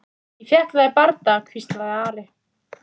Ég fékk það í bardaga, hvíslaði Ari.